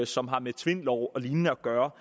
som har med tvindloven og lignende at gøre